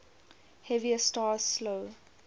heavier stars slow